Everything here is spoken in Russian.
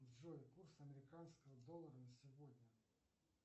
джой курс американского доллара на сегодня